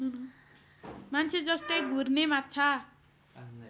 मान्छेजस्तै घुर्ने माछा